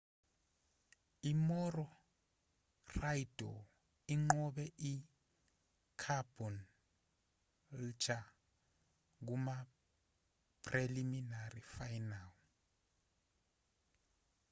i-maroochydore inqobe i-caboonlture kuma-preliminary final